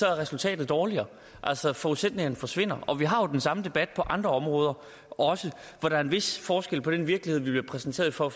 er resultatet dårligere altså forudsætningerne forsvinder og vi har jo også den samme debat på andre områder hvor der er en vis forskel på den virkelighed vi bliver præsenteret for